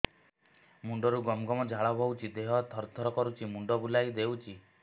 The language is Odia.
ମୁଣ୍ଡରୁ ଗମ ଗମ ଝାଳ ବହୁଛି ଦିହ ତର ତର କରୁଛି ମୁଣ୍ଡ ବୁଲାଇ ଦେଉଛି